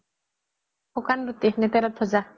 শুকান ৰুটি নে তেলত ভাজা